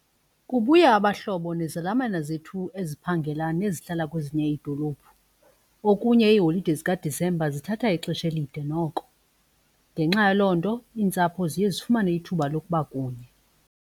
Kubuya abahlobo nezelamane zethu eziphangelayo ezihlala kwezinye iidolophu. Okunye iiholide zikaDisemba zithatha ixesha elide noko ngenxa yaloo nto iintsapho ziye zifumane ithuba lokuba kunye.